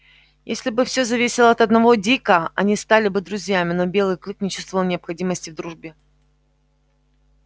если бы все зависело от одного дика они стали бы друзьями но белый клык не чувствовал необходимости в дружбе